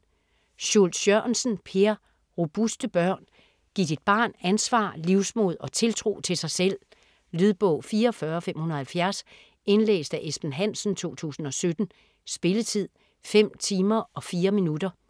Schultz Jørgensen, Per: Robuste børn Giv dit barn ansvar, livsmod og tiltro til sig selv. Lydbog 44570 Indlæst af Esben Hansen, 2017. Spilletid: 5 timer, 4 minutter.